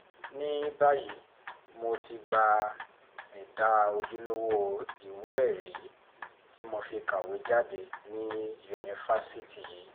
ní báyìí mo ti gba ẹ̀dà ojúlówó ìwé-ẹ̀rí tí mo fi kàwé jáde ní yunifásitì yìí